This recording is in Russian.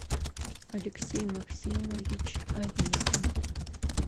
алексей максимович аверин